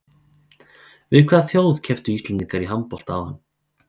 Við hvaða þjóð kepptu Íslendingar í handbolta áðan?